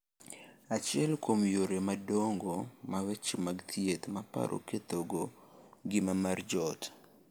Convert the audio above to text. Achiel kuom yore madongo ma weche mag thieth mar paro kethogo ngima mar joot